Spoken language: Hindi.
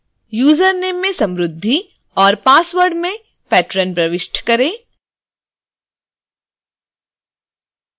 username में samruddhi और password में patron प्रविष्ट करें